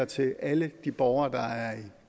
til alle de borgere der er i